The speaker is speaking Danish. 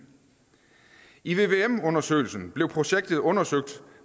i vvm undersøgelsen blev projektet undersøgt